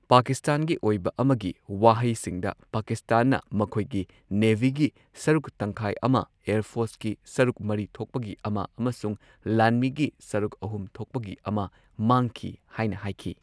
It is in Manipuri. ꯄꯥꯀꯤꯁꯇꯥꯟꯒꯤ ꯑꯣꯏꯕ ꯑꯃꯒꯤ ꯋꯥꯍꯩꯁꯤꯡꯗ ꯄꯥꯀꯤꯁꯇꯥꯟꯅ ꯃꯈꯣꯏꯒꯤ ꯅꯦꯚꯤꯒꯤ ꯁꯔꯨꯛ ꯇꯪꯈꯥꯏ ꯑꯃ, ꯑꯦꯌꯔ ꯐꯣꯔꯁꯀꯤ ꯁꯔꯨꯛ ꯃꯔꯤ ꯊꯣꯛꯄꯒꯤ ꯑꯃ ꯑꯃꯁꯨꯡ ꯂꯥꯟꯃꯤꯒꯤ ꯁꯔꯨꯛ ꯑꯍꯨꯝ ꯊꯣꯛꯄꯒꯤ ꯑꯃ ꯃꯥꯡꯈꯤ ꯍꯥꯏꯅ ꯍꯥꯏꯈꯤ꯫